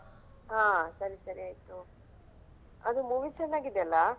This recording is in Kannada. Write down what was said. ಹಾ ಸರಿ ಸರಿ ಆಯ್ತು okay ಅದು movie ಚೆನ್ನಾಗಿದೆಲ್ಲಾ?